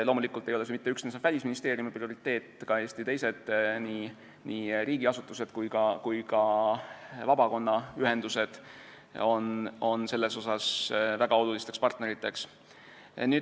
Loomulikult ei ole see mitte üksnes Välisministeeriumi prioriteet, ka Eesti teised nii riigiasutused kui ka vabaühendused on seal väga olulised partnerid.